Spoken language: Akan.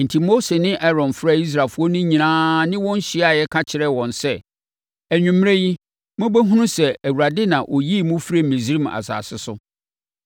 Enti, Mose ne Aaron frɛɛ Israelfoɔ no nyinaa ne wɔn hyiaeɛ ka kyerɛɛ wɔn sɛ, “Anwummerɛ yi, mobɛhunu sɛ Awurade na ɔyii mo firii Misraim asase so.